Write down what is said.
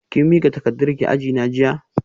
Kin mika takardarki a ajina jiya?